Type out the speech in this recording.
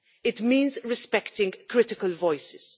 It means respecting critical voices.